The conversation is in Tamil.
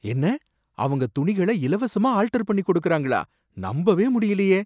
என்ன! அவங்க துணிகள இலவசமா ஆல்டர் பண்ணி கொடுக்கிறார்களா? நம்பவே முடியலையே!